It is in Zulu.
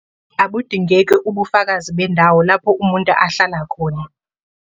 Abudingeki ubufakazi bendawo lapho umuntu ehlala khona.